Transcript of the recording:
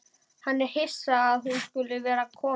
Hann er hissa að hún skuli vera að koma.